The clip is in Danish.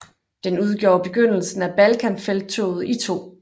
Den udgjorde begyndelsen af Balkanfelttoget i 2